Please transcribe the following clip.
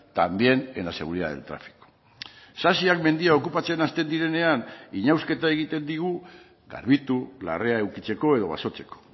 también en la seguridad del tráfico sasiak mendia okupatzen hasten direnean inausketa egiten digu garbitu larrea edukitzeko edo basotzeko